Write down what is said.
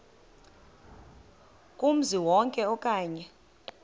kumzi wonke okanye